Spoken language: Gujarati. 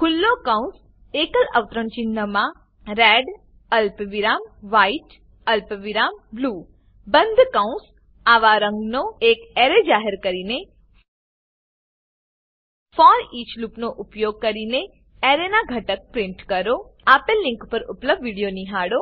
ખુલ્લો કૌંસ એકલ અવતરણ ચિન્હમાં રેડ અલ્પવિરામ વ્હાઇટ અલ્પવિરામ બ્લૂ બંધ કૌંસ આવા રંગનો એક એરે જાહેર કરીને ફોરઈચ લૂપનો ઉપયોગ કરીને એરેનાં ઘટક પ્રીંટ કરો આપેલ લીંક પર ઉપલબ્ધ વિડીયો નિહાળો